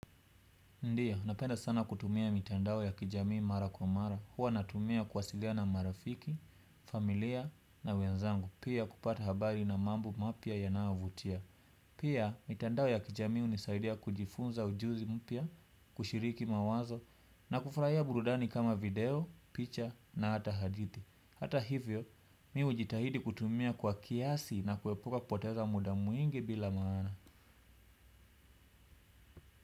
Ndiyo, napenda sana kutumia mitandao ya kijamii mara kwa mara. Huwa natumia kuwasiliana na marafiki, familia na wenzangu. Pia kupata habari na mambo mapya yanayovutia. Pia, mitandao ya kijamii, hunisaidia kujifunza ujuzi mpya, kushiriki mawazo, na kufurahia burudani kama video, picha na hata hadithi. Hata hivyo, mimi hujitahidi kutumia kwa kiasi na kuepuka kupoteza muda mwingi, bila maana.